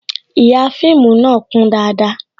Ihà fíìmù na kún dáadáa